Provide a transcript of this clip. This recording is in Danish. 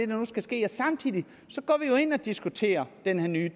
nu skal ske samtidig går vi jo ind og diskuterer den her nye